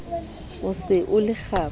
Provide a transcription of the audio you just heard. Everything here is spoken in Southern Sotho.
o se o le kgaba